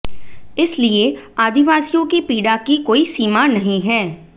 इसलिए आदिवासियों की पीड़ा की कोई सीमा नहीं है